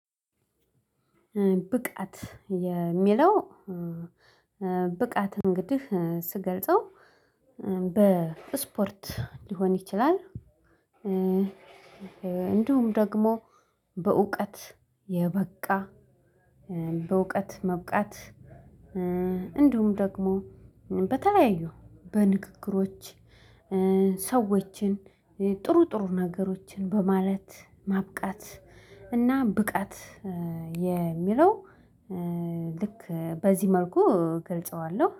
ብቃት የሚለው ብቃት እንግዲህ ስገልጸው በስፖርት ሊሆን ይችላል። እንዲሁም ደግሞ በእውቀት የበቃ በእውቀት መብቃት እንዲሁም ደግሞ በተለያዩ በንግግሮች ሰዎችን ጥሩ ጥሩ ነገሮችን በማለት ማብቃት። እና ብቃት የሚለው ልክ በዚህ መልኩ እገልጸዋለሁ